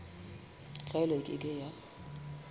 tlwaelo e ke ke ya